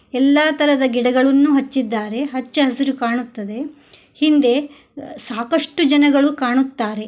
ಎಲ್ಲಾ ತರದ ಗಿಡಗಳನ್ನು ಹಚ್ಚಿದ್ದಾರೆ ಹಚ್ಚಹಸಿರು ಕಾಣುತ್ತದೆ ಹಿಂದೆ ಸಾಕಷ್ಟು ಜನಗಳು ಕಾಣುತ್ತಾರೆ.